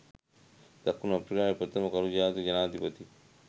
දකුණු අප්‍රිකාවේ ප්‍රථම කළු ජාතික ජනාධිපති